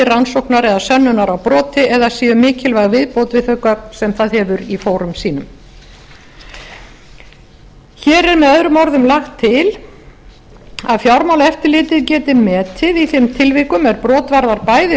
rannsóknar eða sönnunar á broti eða séu mikilvæg viðbót við þau gögn sem það hefur í fórum sínum hér er möo lagt til að fjármálaeftirlitið geti metið í þeim tilvikum er brot varðar bæði